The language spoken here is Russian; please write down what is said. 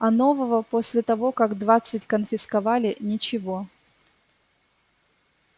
а нового после того как двадцать конфисковали ничего